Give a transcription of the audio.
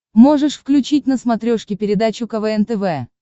можешь включить на смотрешке передачу квн тв